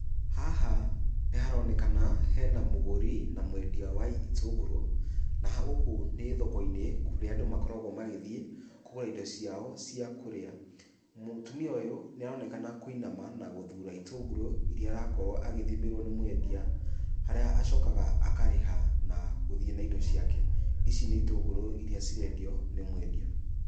Haha nĩharonekana hena mũgũri na mwendia wa itunguru ,naha guku nĩ thoko-inĩ kũrĩa andũ makoragwo magĩthiĩ, kũgũra indo ciao ciakũrĩa. Mũtumia ũyũ nĩarokena kũinama na guthura itunguru iria arakorwo arathimĩrwo nĩ mwendia, harĩa acokaga akarĩha na gũthiĩ na indo ciake, ici nĩ itũngũrũ iria cirendio nĩ mwendia.